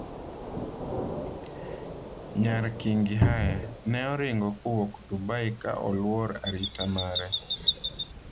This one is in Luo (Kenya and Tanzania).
Nyar kingi Haya: Ne oringo kowuok Dubai ka oluor 'arita' mare.